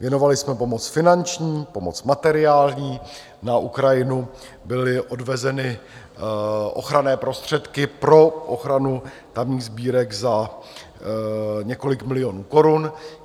Věnovali jsme pomoc finanční, pomoc materiální, na Ukrajinu byly odvezeny ochranné prostředky pro ochranu tamních sbírek za několik milionů korun.